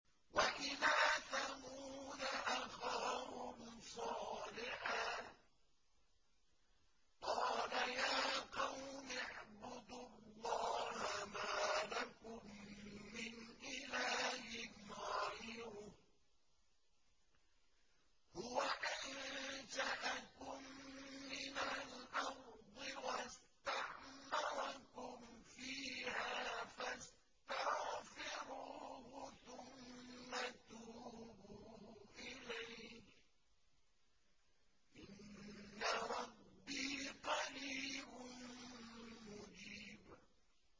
۞ وَإِلَىٰ ثَمُودَ أَخَاهُمْ صَالِحًا ۚ قَالَ يَا قَوْمِ اعْبُدُوا اللَّهَ مَا لَكُم مِّنْ إِلَٰهٍ غَيْرُهُ ۖ هُوَ أَنشَأَكُم مِّنَ الْأَرْضِ وَاسْتَعْمَرَكُمْ فِيهَا فَاسْتَغْفِرُوهُ ثُمَّ تُوبُوا إِلَيْهِ ۚ إِنَّ رَبِّي قَرِيبٌ مُّجِيبٌ